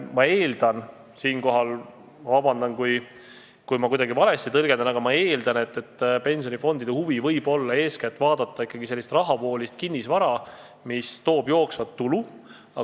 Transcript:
Ma eeldan – siinkohal palun vabandust, kui ma kuidagi valesti tõlgendan –, et pensionifondide huvi võib olla eeskätt vaadata ikkagi sellist rahavoolist kinnisvara, mis toob jooksvat tulu.